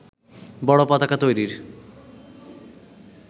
বড় পতাকা তৈরির